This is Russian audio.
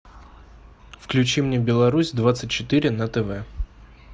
включи мне беларусь двадцать четыре на тв